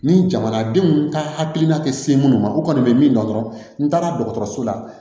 Ni jamanadenw ka hakilina tɛ se minnu ma u kɔni bɛ min dɔn dɔrɔn n taara dɔgɔtɔrɔso la